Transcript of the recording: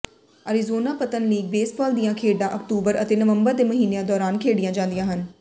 Arizona ਪਤਨ league baseball ਦੀਆਂ ਖੇਡਾਂ ਅਕਤੂਬਰ ਅਤੇ ਨਵੰਬਰ ਦੇ ਮਹੀਨਿਆਂ ਦੌਰਾਨ ਖੇਡੀਆਂ ਜਾਂਦੀਆਂ ਹਨ